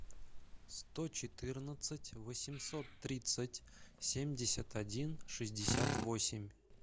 сто четырнадцать восемьсот тридцать семьдесят один шестьдесят восемь